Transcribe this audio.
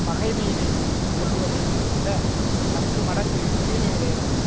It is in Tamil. பகைமையினை கொள்ளுவதை விட பத்து மடங்கு தீமையுடையதாகும்